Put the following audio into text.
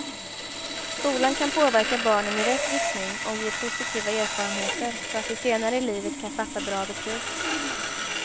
Skolan kan påverka barnen i rätt riktning och ge positiva erfarenheter så att de senare i livet kan fatta bra beslut.